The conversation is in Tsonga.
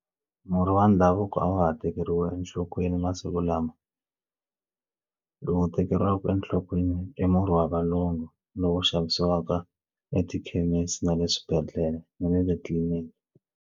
Murhi wa ndhavuko a wa ha tekeriwi enhlokweni masiku lama lowu tekeriwaka enhlokweni i murhi wa valungu lowu xavisiwaka etikhemisi na le swibedhlele na le tliliniki.